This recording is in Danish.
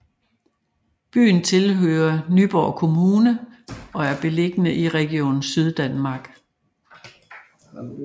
Byen tilhører Nyborg Kommune og er beliggende i Region Syddanmark